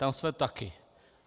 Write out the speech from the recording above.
Tam jsme taky.